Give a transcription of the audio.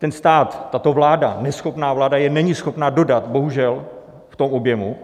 Ten stát, tato vláda, neschopná vláda je není schopna dodat, bohužel, v tom objemu.